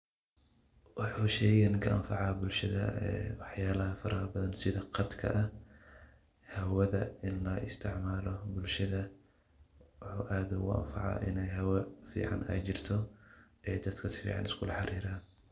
Waxuu sheygan ka anfacaa bulshada waxyaalaha farax badan sida qatka ah, hawada in loo isticmaalayo bulshada. Waxuu aad ugu anfacaa inay hawo fiican ay jirto dadka si ficaan usku la hariiraan.